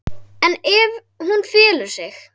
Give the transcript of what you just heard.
En ef hún felur sig?